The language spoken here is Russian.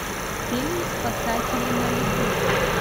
фильм спасатели малибу